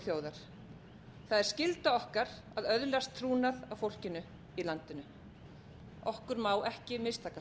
það er skyld okkar að öðlast trúnað á fólkinu í landinu okkur má ekki mistakast